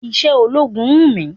Iṣé ológun wù mí.